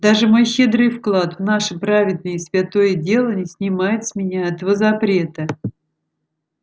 даже мой щедрый вклад в наше праведное и святое дело не снимает с меня этого запрета